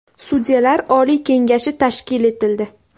Sudyalar oliy kengashi tashkil etildi.